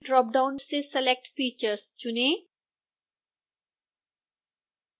dropdown से select features चुनें